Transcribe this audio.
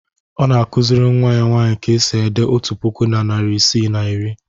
Ọ na-akụziri nnwa ya nwaanyị ka e si ede otu puku na narị isii na iri.